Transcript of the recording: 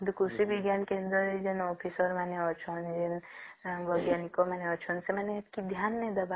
କିନ୍ତୁ କୃଷି ବିଜ୍ଞାନ କେନ୍ଦ୍ର ରେ ଯେଣେ ଅଫିସର ମାନେ ଅଛନ୍ତି ବୈଜ୍ଞାନିକ ମାନେ ଅଛନ୍ତି ସେମାନେ କେନେ ଧ୍ୟାନ ନାଇଁ ଦେବା